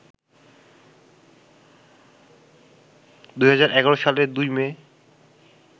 ২০১১ সালের ২ মে